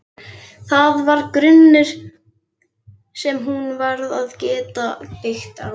Það var grunnur sem hún varð að geta byggt á.